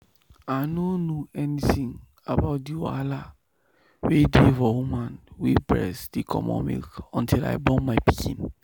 i nor know anything about the wahala wey dey for woman wey breast dey comot milk until i born my pikin.